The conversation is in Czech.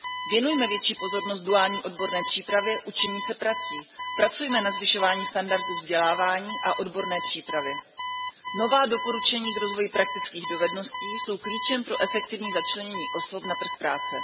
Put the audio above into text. Věnujme větší pozornost duální odborné přípravě učení se prací, pracujme na zvyšování standardů vzdělávání a odborné přípravy. Nová doporučení k rozvoji praktických dovedností jsou klíčem pro efektivní začlenění osob na trh práce.